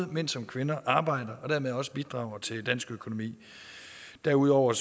mænd som kvinder arbejder og dermed også bidrager til den danske økonomi derudover